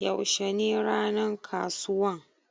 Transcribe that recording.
Yaushe ne ranan ƙasuwan?